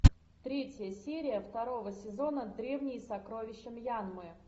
третья серия второго сезона древние сокровища мьянмы